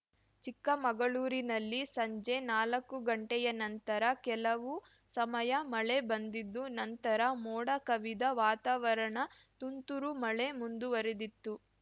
ಚಿಕ್ಕಮಗಳೂರಿನಲ್ಲಿ ಸಂಜೆ ನಾಲಕ್ಕು ಗಂಟೆಯ ನಂತರ ಕೆಲವು ಸಮಯ ಮಳೆ ಬಂದಿದ್ದು ನಂತರ ಮೋಡ ಕವಿದ ವಾತಾವರಣ ತುಂತುರು ಮಳೆ ಮುಂದುವರೆದಿತ್ತು